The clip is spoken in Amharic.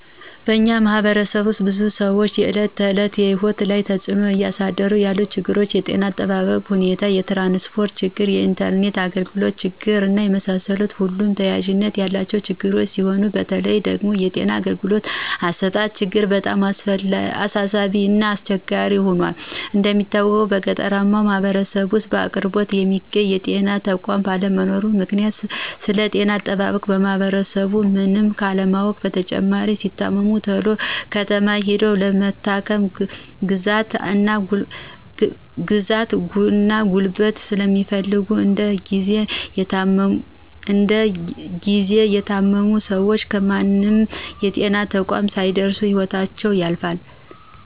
በእኛ ማህበረሰብ ውስጥ በብዙ ሰዎች የእለት ተዕለት ህይወት ላይ ተፅዕኖ እያሳደሩ ያሉት ነገሮች የጤና እጠባበቅ ሁኔታ፣ የትራንስፖርት ችግር፣ የኢንተርኔት አግልግሎት ችግር እና የመሳሰሉት ሁሉም ተያያዥነት ያላቸው ችግሮች ሲሆኑ በተለይ ደግሞ የጤና አገልግሎት አሰጣጥ ችግር በጣም አሳሳቢ እና አስቸጋሪ ሁኗል። እንደሚታወቀው በገጠራማው ማህበረሰብ ውስጥ በቅርበት የሚገኝ የጤና ተቋም ባለመኖሩ ምክንያት ስለጤና አጠባበቅ ማህበረሰቡ ምንም ካለማወቁ በተጨማሪ ሲታመሙ ተሎ ከተማ ሂደው ለመታከም ግዛት እና ጉልበት ስለሚፈልግ እንድ ጊዚ የታመሙ ሰወች ከምንም የጤና ተቋም ሳይደርሱ ህይወታቸው ያልፋል።